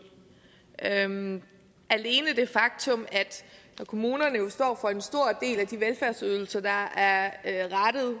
alene det faktum at kommunerne jo står for en stor del af de velfærdsydelser der er rettet